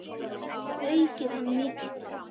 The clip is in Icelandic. Við höfum aukið hann mikið.